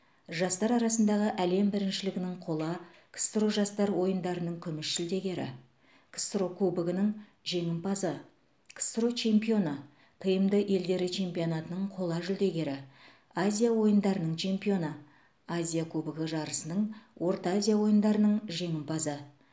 жастар арасындағы әлем біріншілігінің қола ксро жастар ойындарының күміс жүлдегері ксро кубогінің жеңімпазы ксро чемпионы тмд елдері чемпионатының қола жүлдегері азия ойындарының чемпионы азия кубогі жарысының орта азия ойындарының жеңімпазы